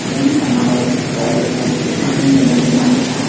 uni ka·mao gari baik bang·e donakoba nika.